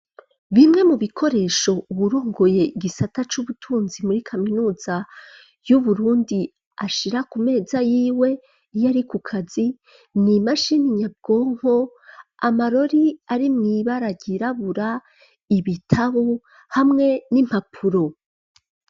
Bimwe mu bikoresho uwurongoye gisata c'ubutunzi muri kaminuza y'Uburundi ashira ku meza y'iwe iyo ari ku kazi ni imashini nyabwonko, amarori ari mw'ibara ryirabura, ibitabo hamwe n'impapuro.